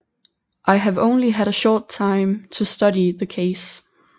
I have only had a short time to study the case